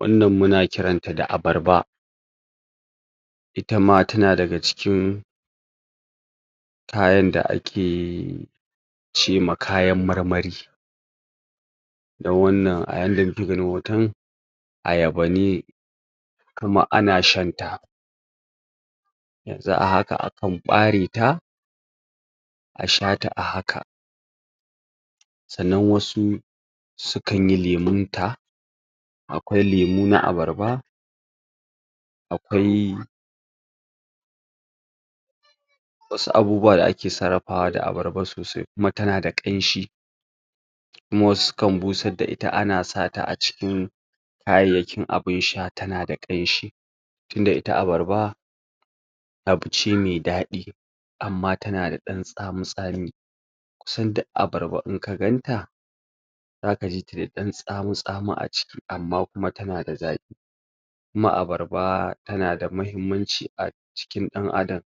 Wannan muna kiranta da abarba, itama ta na daga cikin kayan da ake cema kayan marmari, don wannan a yanda muke ganin hoton ayaba ne kaman ana shanta, yanzu a haka akan ɓareta, a shata a haka, sannan wasu sukan yi lemunta, akwai lemu na abarba, akwai wasu abubuwa da ake sarrafawa da abarba sosai kuma ta na da ƙanshi, kuma wasu sukan busadda ita ana sata a cikin kayayyakin abun sha ta na da ƙanshi tinda ita abarba abu ce mai daɗi amma ta na da ɗan tsami tsami, kusan duk abarba in ka ganta za ka ji da ɗan tsami tsami a ciki amma kuma ta na da zaƙi, kuma abarba ta na da mahimmanci a jikin ɗan adam,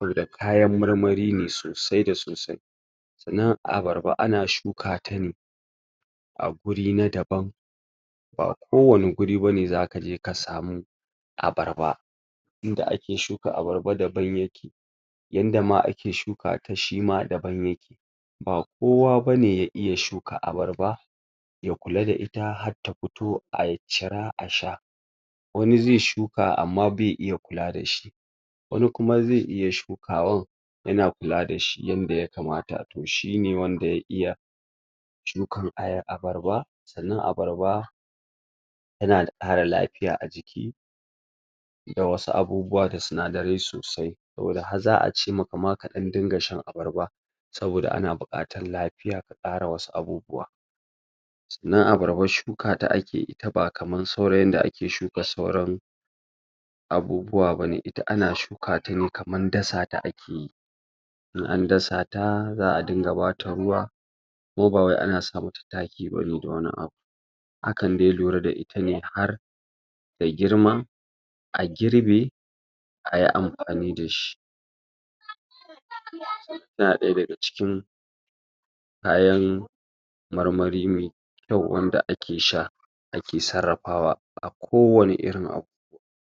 wanda kayan marmari ne sosai da sosai, sannan abarba ana shuka ta ne a guri na daban ba kowane guri ba ne zaka je ka samu abarba, inda ake shuka abarba daban yake, yanda ma ake shuka ta shima daban yake, ba kowa ba ne ya iya shuka abarba ya kula da ita har ta fito a cira a sha, wani zai shuka amma bai iya kula da shi wani kuma zai iya shukawar yana kula da shi yanda yakamata to shine wanda ya iya shukan aya... abarba, sannan abarba ta na da ƙara lafiya a jiki da wasu abubuwa da sinadarai sosai, saboda har za'a ce ma ka ka ɗan dinga shan abarba, saboda ana buƙatar lafiya ka ƙara wasu abubuwa, sannan abarba shuka ta ake ita ba kamar sauran yadda ake shuka sauran abubuwa ba ne, ita ana shukata ne kaman dasa ta in an dasa ta za'a dinga bata ruwa ko ba wai ana sa ma ta taki ba ne da wani abu, akan de lura da ita ne har ta girma a girbe ayi amfani da shi, tana ɗaya daga cikin kayan marmari me kyau wanda ake sha, ake sarrafawa a kowane irin abu.